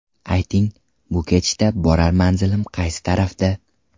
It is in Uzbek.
Ayting, bu ketishda borar manzilim qaysi tarafda?